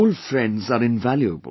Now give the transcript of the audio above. Old friends are invaluable